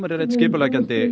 er einn skipuleggjandi